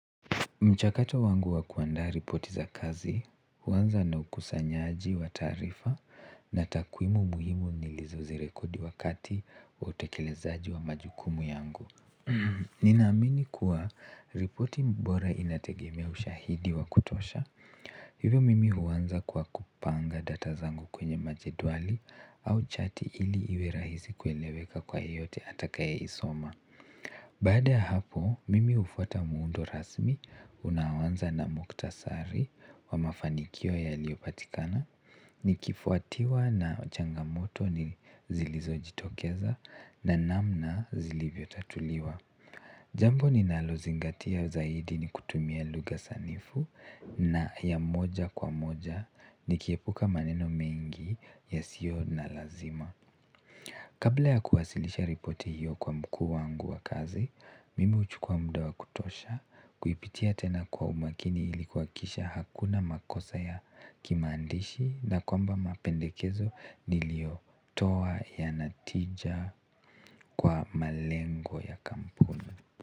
Mchakato wangu wakuanda ripoti za kazi, huwanza na ukusanyaji wa taarifa na takwimu muhimu nilizozi rekodi wakati wa utekelezaaji wa majukumu yangu. Ninaamini kuwa ripoti bora inategemea ushaidi wa kutosha hivyo mimi huwanza kwa kupanga data zangu kwenye majedwali au chati ili iwerahisi kueleweka kwa yeyote atakaye isoma. Baada ya hapo, mimi hufuata muundo rasmi unaoanza na muktasari wa mafanikio yaliyopatikana nikifuatiwa na changamoto zilizo jitokeza na namna zilivyo tatuliwa jambo ni nalozingatia zaidi ni kutumia lugha sanifu na ya moja kwa moja nikiepuka maneno mengi yasiyo na lazima kabla ya kuwasilisha ripoti hiyo kwa mkuu wangu wa kazi, mimi huchukua muda wakutosha kuipitia tena kwa umakini ili kuhakikisha hakuna makosa ya kimandishi na kwamba mapendekezo niliyo toa yana tija kwa malengo ya kampu.